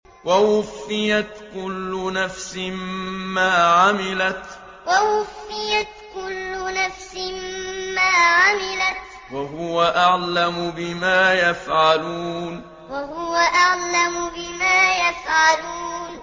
وَوُفِّيَتْ كُلُّ نَفْسٍ مَّا عَمِلَتْ وَهُوَ أَعْلَمُ بِمَا يَفْعَلُونَ وَوُفِّيَتْ كُلُّ نَفْسٍ مَّا عَمِلَتْ وَهُوَ أَعْلَمُ بِمَا يَفْعَلُونَ